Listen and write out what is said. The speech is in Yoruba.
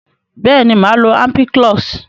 beeni, maa lo ampiclox.